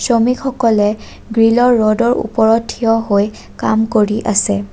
শ্ৰমিকসকলে গ্ৰিলৰ ৰ'ডৰ ওপৰত থিয় হৈ কাম কৰি আছে।